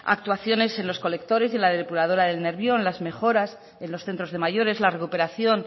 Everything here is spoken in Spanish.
actuaciones en los colectores y en la depuradora del nervión las mejoras en los centros de mayores la recuperación